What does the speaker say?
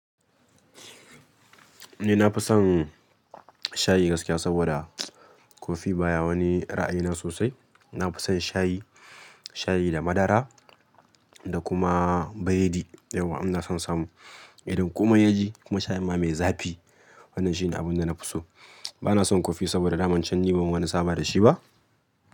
Ni nafi son shayi gaskiya saboda kofi baya wani ra'ayina sosai. Nafi son shayi, shayi da madara da kuma biredi. Yauwa ina son samu irin kuma yaji kuma shayin ma mai zafi. Wannan shi ne abun da nafi so. Bana son kofi saboda daman can ni ban wani sama da shi ba.